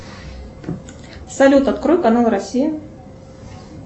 салют открой канал россия